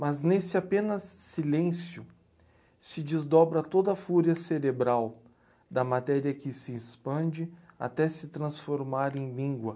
Mas nesse apenas silêncio se desdobra toda a fúria cerebral da matéria que se expande até se transformar em língua.